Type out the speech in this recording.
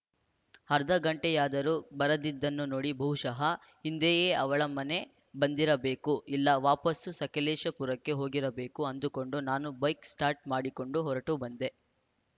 ಅರ್ಧ ಗಂಟೆಯಾದರೂ ಬರದಿದ್ದನ್ನು ನೋಡಿ ಬಹುಶಃ ಹಿಂದೆಯೇ ಅವಳ ಮನೆ ಬಂದಿರಬೇಕು ಇಲ್ಲ ವಾಪಸ್ಸು ಸಕಲೇಶಪುರಕ್ಕೆ ಹೋಗಿರಬೇಕು ಅಂದುಕೊಂಡು ನಾನು ಬೈಕ್‌ ಸ್ಟಾರ್ಟ್‌ ಮಾಡಿಕೊಂಡು ಹೊರಟು ಬಂದೆ